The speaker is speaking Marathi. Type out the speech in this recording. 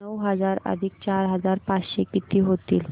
नऊ हजार अधिक चार हजार पाचशे किती होतील